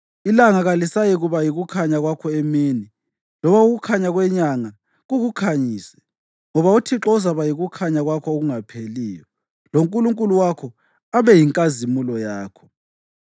Ilanga kalisayikuba yikukhanya kwakho emini loba ukukhanya kwenyanga kukukhanyise, ngoba uThixo uzakuba yikukhanya kwakho okungapheliyo, loNkulunkulu wakho abe yinkazimulo yakho.